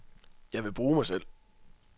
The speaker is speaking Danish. Jeg vil bruge mig selv.